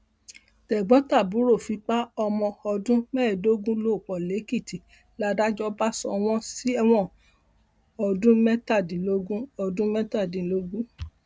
tẹgbọntàbúrò fipá ọmọ ọdún mẹẹẹdógún ló pọ lèkìtì làdájọ bá sọ wọn sẹwọn ọdún mẹtàdínlógún ọdún mẹtàdínlógún